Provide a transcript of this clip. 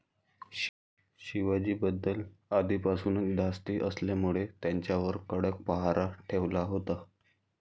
शिवाजीबद्दल अधीपासूनच धास्ती असल्यामुळे त्यांच्यावर कडक पहारा ठेवला होता.